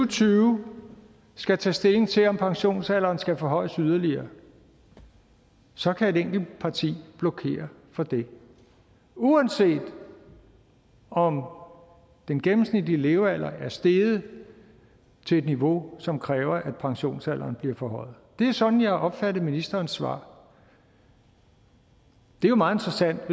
tyve skal tage stilling til om pensionsalderen skal forhøjes yderligere så kan et enkelt parti blokere for det uanset om den gennemsnitlige levealder er steget til et niveau som kræver at pensionsalderen bliver forhøjet det er sådan jeg opfattede ministerens svar og det er meget interessant